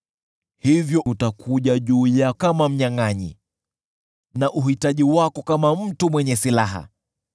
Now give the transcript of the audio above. hivyo umaskini utakuja juu yako kama mnyangʼanyi, na kupungukiwa kutakujia kama mtu mwenye silaha.